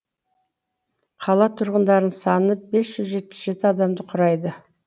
қала тұрғындарының саны бес жүз жетпіс жеті адамды құрайды